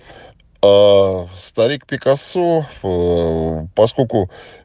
аа старик пикассо ээ поскольку